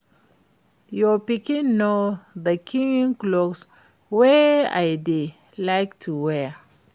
Your pikin know the kin cloth wey I dey like to wear